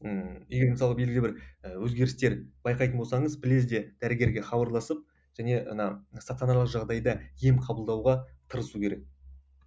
ыыы егер мысалы белгілі бір і өзгерістер байқайтын болсаңыз лезде дәрігерге хабарласып және ана стационарлық жағдайда ем қабылдауға тырысу керек